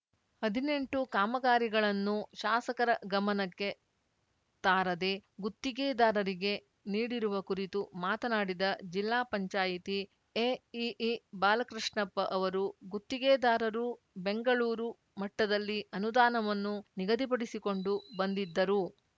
ಹದಿನೆಂಟು ಕಾಮಗಾರಿಗಳನ್ನು ಶಾಸಕರ ಗಮನಕ್ಕೆ ತಾರದೇ ಗುತ್ತಿಗೆದಾರರಿಗೆ ನೀಡಿರುವ ಕುರಿತು ಮಾತನಾಡಿದ ಜಿಲ್ಲಾ ಪಂಚಾಯಿತಿ ಎಇಇ ಬಾಲಕೃಷ್ಣಪ್ಪ ಅವರು ಗುತ್ತಿಗೆದಾರರು ಬೆಂಗಳೂರು ಮಟ್ಟದಲ್ಲಿ ಅನುದಾನವನ್ನು ನಿಗದಿಪಡಿಸಿಕೊಂಡು ಬಂದಿದ್ದರು